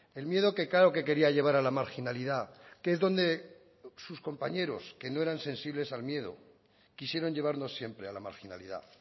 el miedo que claro que quería llevar a la marginalidad que es donde sus compañeros que no eran sensibles al miedo quisieron llevarnos siempre a la marginalidad